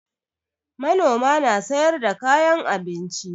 Manoma na sayar da kayan abinci